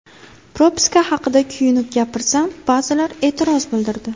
Propiska haqida kuyunib gapirsam, ba’zilar e’tiroz bildirdi.